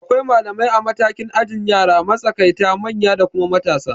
Akwai malamai a matakin ajin yara, makatsaita, manya da kuma matasa